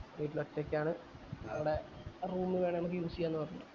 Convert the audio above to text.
വീട്ടിൽ ഒറ്റക്ക് ആണ് അവിടെ room വേണേ നമ്മക്ക് use ചെയ്യാ പറഞ്ഞു